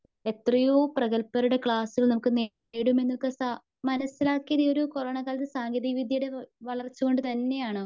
എത്രയോ പ്രെഗൽബരുടെ ക്ലാസുകൾ നമുക്ക് നേടുമെന്നൊക്കെ സാ മനസിലാക്കിയാതൊരു കൊറോണകാലത്ത്‌ സാങ്കേതിക വിദ്ത്യയുടെ വളർച്ച കൊണ്ട് തന്നയെയാണ്.